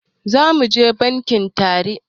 Zamuje bankin tare